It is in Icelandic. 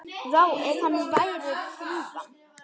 Vá, ef hann væri hrífan!